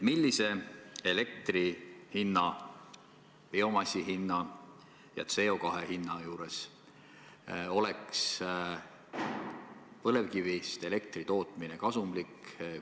Millise elektri hinna, biomassi hinna ja CO2 hinna juures oleks põlevkivist elektri tootmine kasumlik?